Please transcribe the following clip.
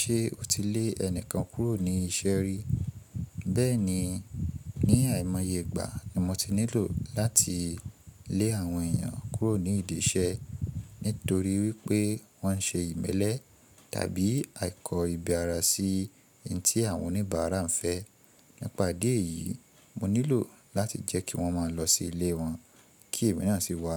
Ṣé o ti lé ẹnìkan kúrò ní iṣẹ́ rí? Bẹ́ẹ̀ni, ní àìmọye ìgbà ni mo ti nílò láti lé àwọn èèyàn kúrò ní ìdí iṣẹ́ nítorí wípé wọ́n ṣe ìmẹ́lẹ́ tàbí àìkọ́ ìbi ara sí ohun tí àwọn oníbàárà ń fẹ́. Nípa idí ẹ̀yìí, mo nílò láti jẹ́ kí wọ́n máa lọ sí ilé wọn kí èèyàn sì wá,